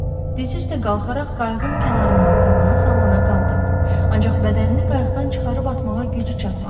Dizi üstə qalxaraq qayığın kənarından salana-salana qaldı, ancaq bədənini qayıqdan çıxarıb atmağa gücü çatmadı.